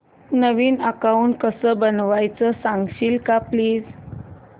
नवीन account कसं बनवायचं सांगशील का प्लीज